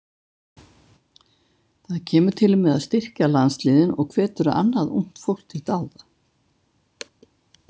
Það kemur til með að styrkja landsliðin og hvetur annað ungt fólk til dáða.